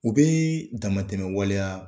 U bɛ damatɛmɛ waleya